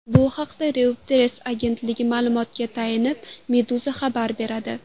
Bu haqda Reuters agentligi ma’lumotiga tayanib, Meduza xabar beradi .